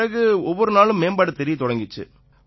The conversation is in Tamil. பிறகு ஒவ்வொரு நாளும் மேம்பாடு தெரியத் தொடங்கிச்சு